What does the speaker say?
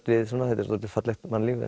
við þetta er svolítið fallegt mannlíf